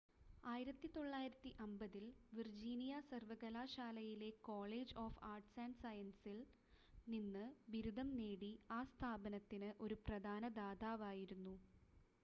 1950 ൽ വിർജീനിയ സർവകലാശാലയിലെ college of arts & സയൻസസിൽ നിന്ന് ബിരുദം നേടി ആ സ്ഥാപനത്തിന് ഒരു പ്രധാന ദാതാവായിരുന്നു